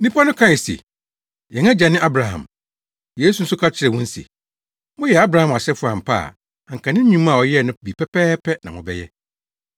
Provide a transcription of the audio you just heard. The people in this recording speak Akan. Nnipa no kae se, “Yɛn agya ne Abraham.” Yesu nso ka kyerɛɛ wɔn se, “Moyɛ Abraham asefo ampa a anka ne nnwuma a ɔyɛe no bi pɛpɛɛpɛ na mobɛyɛ.